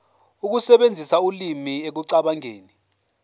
ukusebenzisa ulimi ekucabangeni